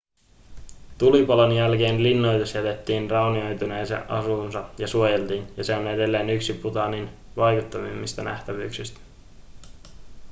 tulipalon jälkeen linnoitus jätettiin raunioituneeseen asuunsa ja suojeltiin ja se on edelleen yksi bhutanin vaikuttavimmista nähtävyyksistä